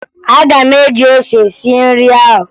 Aga m eji ose sie nri ahụ